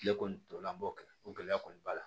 Kile kɔni tɔla an b'o kɛ o gɛlɛya kɔni b'a la